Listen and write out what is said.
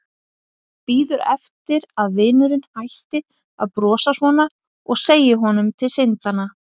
Bíður eftir að vinurinn hætti að brosa svona og segi honum til syndanna.